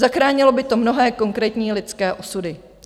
Zachránilo by to mnohé konkrétní lidské osudy.